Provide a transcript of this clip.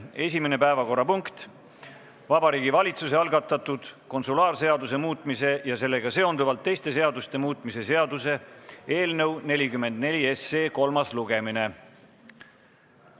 Esimene päevakorrapunkt on Vabariigi Valitsuse algatatud konsulaarseaduse muutmise ja sellega seonduvalt teiste seaduste muutmise seaduse eelnõu 44 kolmas lugemine.